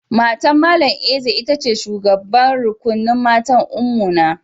Matan Mallam Eze ita ce shugaban rukunin matan Ummuna.